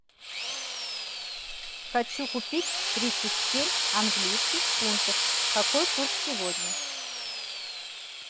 хочу купить тридцать семь английских фунтов какой курс сегодня